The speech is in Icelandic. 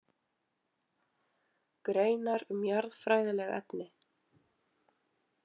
Greinar um jarðfræðileg efni.